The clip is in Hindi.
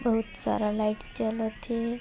बहुत सारा लाइट जलत हे।